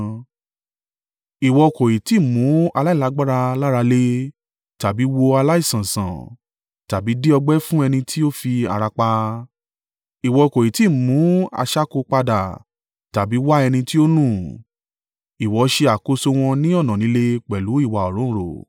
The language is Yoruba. Ìwọ kò ì tí ì mú aláìlágbára lára le tàbí wo aláìsàn sàn tàbí di ọgbẹ́ fún ẹni tí o fi ara pa. Ìwọ kò í tí ì mú aṣáko padà tàbí wá ẹni tí ó nù. Ìwọ ṣe àkóso wọn ní ọ̀nà lílé pẹ̀lú ìwà òǹrorò.